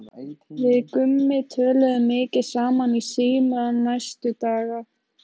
Við Gummi töluðum mikið saman í síma næstu daga.